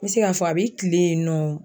N be se ka fɔ a be kilen yen nɔ.